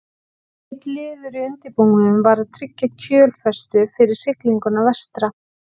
Einn liður í undirbúningnum var að tryggja kjölfestu fyrir siglinguna vestra.